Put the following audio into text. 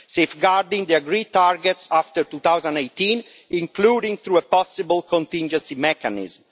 safeguarding the agreed targets after 2018, including through a possible contingency mechanism.